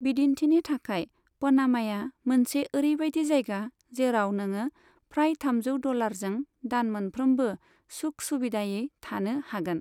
बिदिन्थिनि थाखाय, पनामाया मोनसे ओरैबायदि जायगा जेराव नोङो फ्राय थामजौ डलारजों दान मोनफ्रोमबो सुख सुबिदायै थानो हागोन।